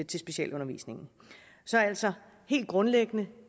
til specialundervisning så altså helt grundlæggende